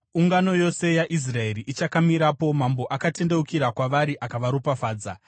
Ungano yose yaIsraeri ichakamirapo, mambo akatendeukira kwavari akavaropafadza.